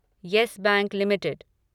yes Bank limited